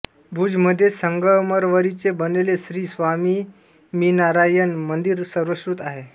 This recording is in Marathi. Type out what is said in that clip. भुजमध्ये संगमरवरीचे बनलेले श्री स्वामीमीनारायण मंदिर सर्वश्रुत आहे